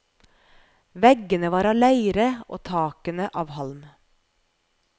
Veggene var av leire og takene av halm.